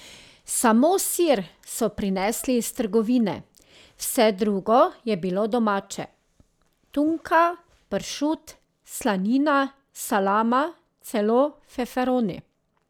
Samo sir so prinesli iz trgovine, vse drugo je bilo domače, tunka, pršut, slanina, salama, celo feferoni.